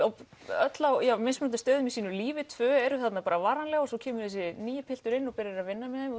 öll á mismunandi stöðum í sínu lífi tvö eru þarna bara varanleg svo kemur þessi nýi pilturinn og byrjar að vinna með þeim